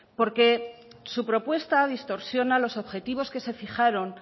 porque su propuesta distorsiona los objetivos que se fijaron